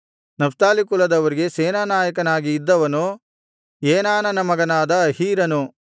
Naphtali ಕುಲದವರಿಗೆ ಸೇನಾನಾಯಕನಾಗಿ ಇದ್ದವನು ಏನಾನನ ಮಗನಾದ ಅಹೀರನು